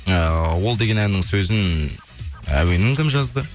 ыыы ол деген әннің сөзін әуенін кім жазды